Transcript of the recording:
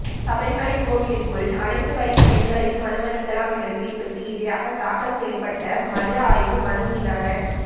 சபரிமலை கோவிலுக்குள் அனைத்து வயது பெண்களையும் அனுமதிக்கலாம் என்ற தீர்ப்புக்கு எதிராக தாக்கல் செய்யப்பட்ட மறு ஆய்வு மனு மீதான